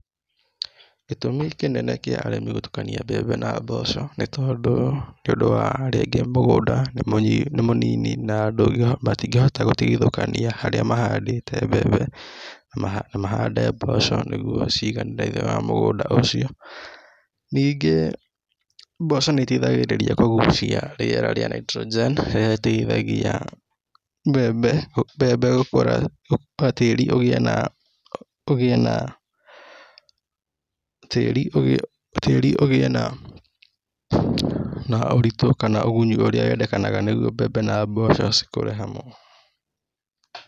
Gĩtũmi kĩnene kĩa arĩmi gũtũkania mbembe na mboco nĩtondũ nĩũndũ wa rĩngĩ mũgũnda nĩ mũnini na matingĩhota gũtigithũkania harĩa mahandĩte mbembe na mahande mboco nĩguo ciganĩre thĩniĩ wa mũgũnda ũcio, ningĩ mboco nĩiteithagĩrĩria kũguciĩ rĩera rĩa nitrogen ĩrĩa ĩteithagia tíĩri ugĩe na ũritu kana ũgunyi ũrĩa wendekanaga nĩguo mbembe na mboco cikũre hamwe.